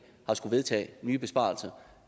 at skulle vedtage nye besparelser